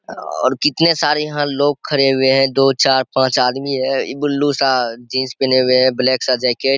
और कितने सारे यहाँ लोग खड़े हुए हैं दो चार पाँच आदमी है इ ब्लू सा जीन्स पहने हुए हैं ब्लैक सा जैकेट .